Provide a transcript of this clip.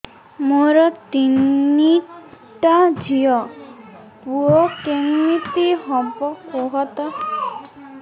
ମୋର ତିନିଟା ଝିଅ ପୁଅ କେମିତି ହବ କୁହତ